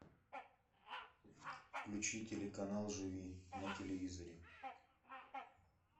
включи телеканал живи на телевизоре